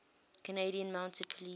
canadian mounted police